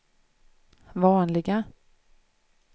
vanliga